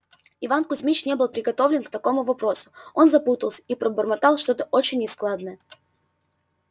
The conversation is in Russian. иван кузмич не был приготовлен к таковому вопросу он запутался и пробормотал что-то очень нескладное